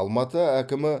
алматы әкімі